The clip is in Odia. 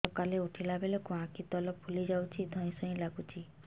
ସକାଳେ ଉଠିଲା ବେଳକୁ ଆଖି ତଳ ଫୁଲି ଯାଉଛି ଧଇଁ ସଇଁ ଲାଗୁଚି